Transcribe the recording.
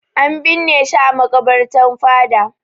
An binne shi a maƙabarta fada.